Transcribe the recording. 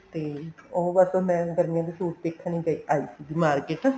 ਤੇ ਉਹ ਬੱਸ ਮੈਂ ਗਰਮੀਆਂ ਦੇ suit ਦੇਖਣ ਅੱਜ ਦੀ market